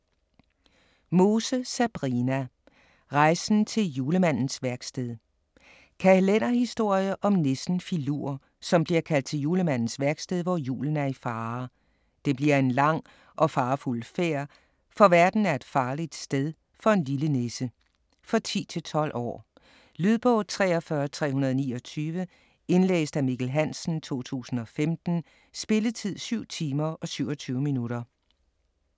Mose, Sabrina: Rejsen til Julemandens værksted Kalenderhistorie om nissen Filur som bliver kaldt til julemandens værksted hvor julen er i fare. Det bliver en lang og farefuld færd, for verden er et farligt sted for en lille nisse. For 10-12 år. Lydbog 43329 Indlæst af Mikkel Hansen, 2015. Spilletid: 7 timer, 27 minutter.